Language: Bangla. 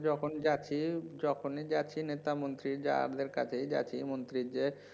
যখন যাচ্ছি যখনই যাচ্ছি নেতা মন্ত্রী যাদের কাছেই মন্ত্রী যে